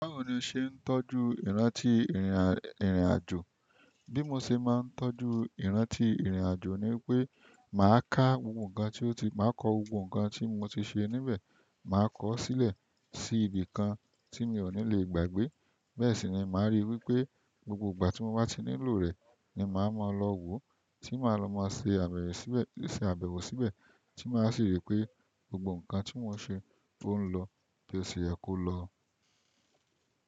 Báwo ni ṣé ń tọ́jú ìrántí ìrìn àjò? Bí mo ṣe máa ń tọ́jú ìrántí ìrìn àjò ni pé màá ká gbogbo ǹkan tí ó ti, màá kọ gbogbo ǹkan tí mo ti ṣe níbẹ̀, màá kọ ó sílẹ̀ sí ibi kan tí mi ò ní le gbàgbé. Bẹ́ẹ̀ sì ni màá ríi wípé gbogbo ìgbà tí mo bá ti nílò rẹ̀ ni màá máa lọ wo, tí màá lọ máa ṣe àbẹ̀wò síbẹ̀ tí màá sì rí pé gbogbo ǹkan tí mo ṣe ó ń lọ bí o ṣe yẹ kó lọ.